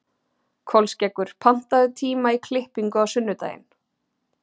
Kolskeggur, pantaðu tíma í klippingu á sunnudaginn.